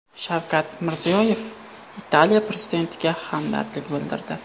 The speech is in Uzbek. Shavkat Mirziyoyev Italiya prezidentiga hamdardlik bildirdi.